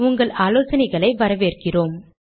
உங்கள் ஆலோசனைகளை எனக்கு அனுப்புவதை வரவேற்கிறேன்